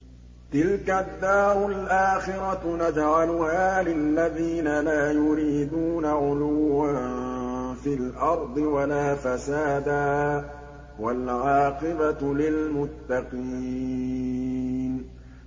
تِلْكَ الدَّارُ الْآخِرَةُ نَجْعَلُهَا لِلَّذِينَ لَا يُرِيدُونَ عُلُوًّا فِي الْأَرْضِ وَلَا فَسَادًا ۚ وَالْعَاقِبَةُ لِلْمُتَّقِينَ